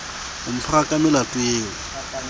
o mphara ka melato eo